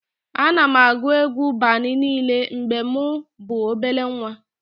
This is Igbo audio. Ana m agụ egwu Bani niile mgbe mụ bụ obele nwa